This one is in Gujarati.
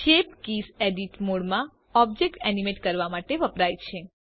શેપ કીઝ એડિટ મોડમાં ઓબ્જેક્ટ એનિમેટ કરવા માટે વપરાય છે